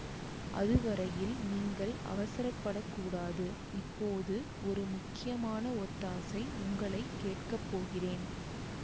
அதுவரையில் நீங்கள் அவசரப்படக் கூடாது இப்போது ஒரு முக்கியமான ஒத்தாசை உங்களை கேட்க போகிறேன்